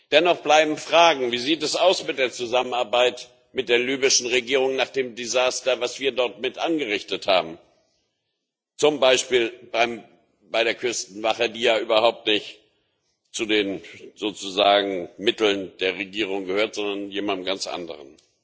Dennoch bleiben Fragen Wie sieht es mit der Zusammenarbeit mit der libyschen Regierung nach dem Desaster aus, das wir dort mit angerichtet haben, zum Beispiel bei der Küstenwache, die ja überhaupt nicht zu den Mitteln der Regierung gehört, sondern jemand ganz anderem?